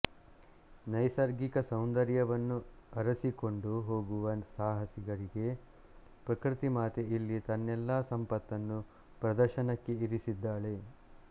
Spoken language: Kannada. ನೈಸರ್ಗಿಕ ಸೌಂದರ್ಯವನ್ನು ಅರಸಿಕೊಂಡು ಹೋಗುವ ಸಾಹಸಿಗರಿಗೆ ಪ್ರಕೃತಿಮಾತೆ ಇಲ್ಲಿ ತನ್ನೆಲ್ಲ ಸಂಪತ್ತನ್ನು ಪ್ರದರ್ಶನಕ್ಕೆ ಇರಿಸಿದ್ದಾಳೆ